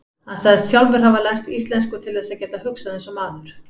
Hann sagðist sjálfur hafa lært íslensku til þess að geta hugsað eins og maður